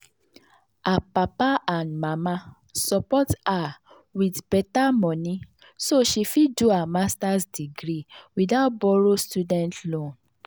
her papa and mama support her with better money so she fit do her master’s degree without borrow student loan.